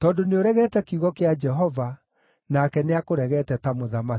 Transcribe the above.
Tondũ nĩũregete kiugo kĩa Jehova, nake nĩakũregete ta mũthamaki.”